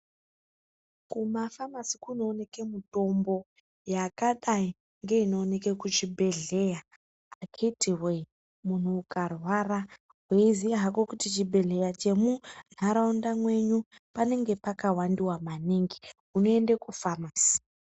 Kumafamasi kunooneke mitombo ysakadayi ngeyekuchibhedhlera akhiti woye, munhu ukarwara uchiziya hako chibhedhleya chiri munharaunda mwenyu chakawandiwa maningi, unoenda kufamasi.